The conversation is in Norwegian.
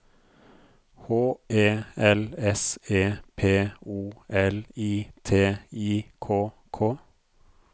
H E L S E P O L I T I K K